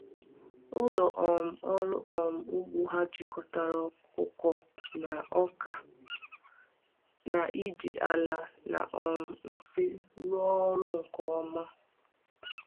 Ụlọ um ọrụ um ugbo ha jikọtara ọkụkọ na ọka, na-eji ala na um nsị rụọ ọrụ nke ọma.